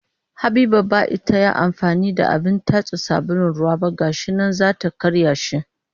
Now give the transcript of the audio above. Habiba ba ita ya amfani da abin tatso sabulun ruwa ba ga shi nan za ta karya shi